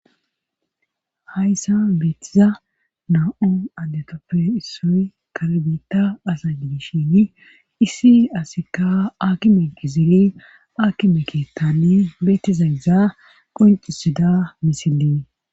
Hayssa beettiza na7u addetoppe issoy kalbita asa diishin issi asikka akki meqisiri aki meketani beetiza iza qoncisida misilii.